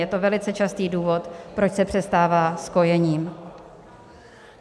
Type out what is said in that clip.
Je to velice častý důvod, proč se přestává s kojením.